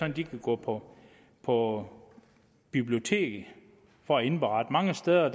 at de kan gå på på biblioteket for at indberette mange steder